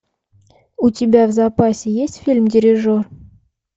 у тебя в запасе есть фильм дирижер